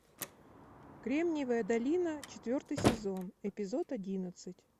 кремниевая долина четвертый сезон эпизод одиннадцать